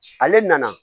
Ale nana